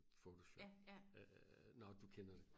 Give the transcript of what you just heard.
photoshop nå du kender dem